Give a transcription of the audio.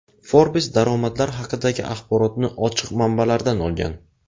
Forbes daromadlar haqidagi axborotni ochiq manbalardan olgan.